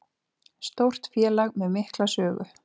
Stórt félag með mikla sögu